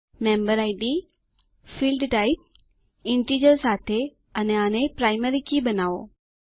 member id field type integer સાથે અને આને પ્રાઈમરી કી બનાવો